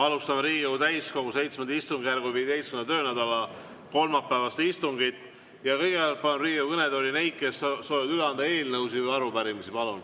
Alustame Riigikogu täiskogu VII istungjärgu 15. töönädala kolmapäevast istungit ja kõigepealt palun Riigikogu kõnetooli neid, kes soovivad üle anda eelnõusid või arupärimisi.